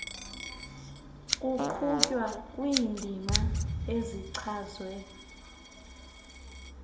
kuqhutywa kwiindima ezichazwe